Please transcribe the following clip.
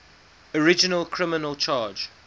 original criminal charge